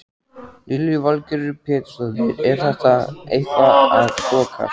Lillý Valgerður Pétursdóttir: Er þetta eitthvað að þokast?